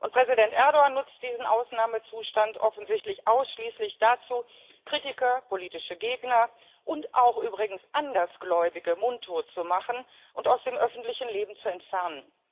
Präsident Erdoğan nutzt diesen Ausnahmezustand offensichtlich ausschließlich dazu, Kritiker, politische Gegner und auch übrigens Andersgläubige mundtot zu machen und aus dem öffentlichen Leben zu entfernen.